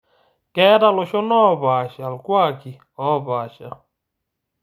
Keeta loshon oopaasha ilkuaaki oopaasha